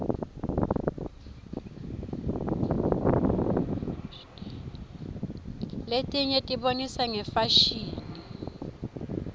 letinye tibonisa ngefasihni